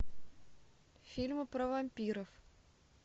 фильмы про вампиров